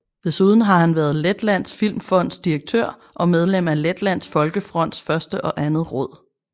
Desuden var han været Letlands Filmfonds direktør og medlem af Letlands Folkefronts første og andet råd